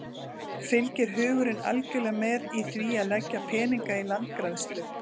Fylgir hugurinn algjörlega með í því að leggja peninga í landgræðslu?